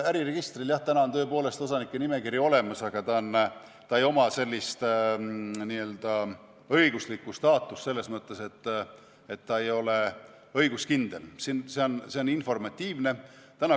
Äriregistril on tõepoolest osanike nimekiri olemas, aga tal ei ole sellist õiguslikku staatust selles mõttes, et ta ei ole õiguskindel, ta on informatiivne.